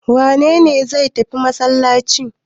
Wane ne zai tafi masallaci?